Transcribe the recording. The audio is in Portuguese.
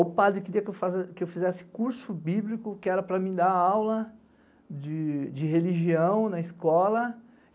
O padre queria que eu fizesse curso bíblico, que era para me dar aula de religião na escola.